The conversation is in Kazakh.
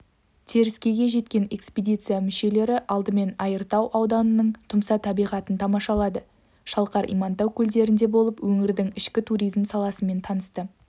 теріскейге жеткен экпедиция мүшелері алдымен айыртау ауданының тұмса табиғатын тамашалады шалқар имантау көлдерінде болып өңірдің ішкі туризм саласымен танысты